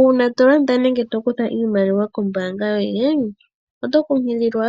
Uuna to landa nenge to kutha iimaliwa kombaanga yoye, oto kunkililwa